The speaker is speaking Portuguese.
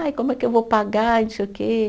Ai, como é que eu vou pagar e não sei o quê